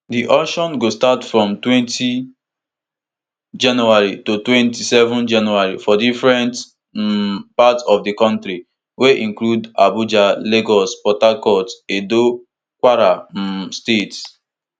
di eauction go start from twenty january to twenty-seven january for different um parts of di kontri wey include abuja lagos port harcourt edo kwara um states